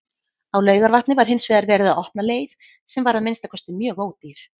Á Laugarvatni var hinsvegar verið að opna leið, sem var að minnsta kosti mjög ódýr.